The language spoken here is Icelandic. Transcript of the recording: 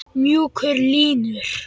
Mjúkar línur.